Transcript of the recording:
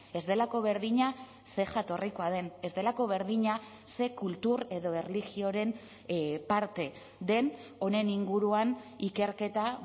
ez delako berdina ze jatorrikoa den ez delako berdina ze kultur edo erlijioren parte den honen inguruan ikerketa